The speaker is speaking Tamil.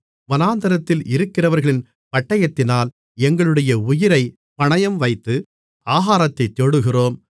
வனாந்திரத்தில் இருக்கிறவர்களின் பட்டயத்தினால் எங்களுடைய உயிரைப் பணயம்வைத்து ஆகாரத்தைத் தேடுகிறோம்